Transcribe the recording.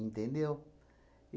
Entendeu?